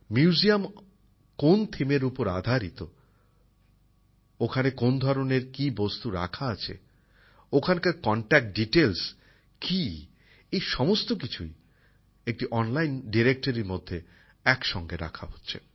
museum কোন theme এর উপর তৈরি করা হয়েছে ওখানে কোন ধরনের কি বস্তু রাখা আছে সংগ্রহশালার সঙ্গে কি ভাবে যোগাযোগ করা যাবে এই সমস্ত কিছুই একটি অনলাইন ডিরেক্টারির মধ্যে একসঙ্গে রাখা হচ্ছে